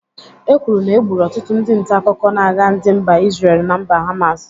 E kwuru na egburu ọtụtụ ndị ntaakụkọ n'agha ndị mba Isrel na mba Hamas.